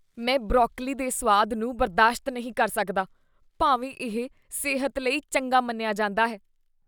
ਮੈਂ ਬਰੋਕਲੀ ਦੇ ਸੁਆਦ ਨੂੰ ਬਰਦਾਸ਼ਤ ਨਹੀਂ ਕਰ ਸਕਦਾ ਭਾਵੇਂ ਇਹ ਸਿਹਤ ਲਈ ਚੰਗਾ ਮੰਨਿਆ ਜਾਂਦਾ ਹੈ।